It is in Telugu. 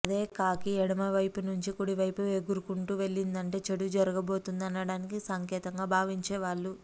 అదే కాకి ఎడమ వైపు నుంచి కుడి వైపు ఎగురుకుంటూ వెళ్లిందంటే చెడు జరగబోతోంది అనడానికి సంకేతంగా భావించేవాళ్ళు